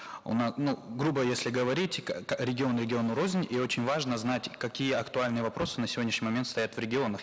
у ну грубо если говорить регион региону рознь и очень важно знать какие актуальные вопросы на сегодняшний момент стоят в регионах